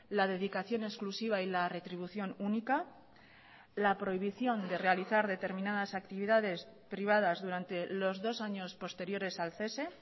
la dedicación exclusiva y la retribución única la prohibición de realizar determinadas actividades privadas durante los dos años posteriores al cese